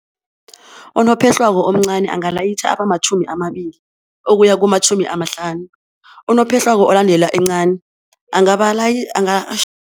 Unophehlwako omncani angalayitjha abamatjhumi amabili ukuya kumatjhumi amahlanu, unophehlwako olandela encani